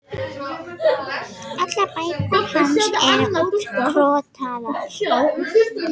Allar bækurnar hans eru útkrotaðar.